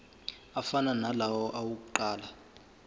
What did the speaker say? afana nalawo awokuqala